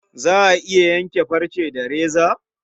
Za a iya yanke farce da reza?